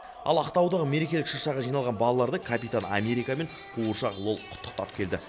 ал ақтаудағы мерекелік шыршаға жиналған балаларды капитан америка мен қуыршақ лол құттықтап келді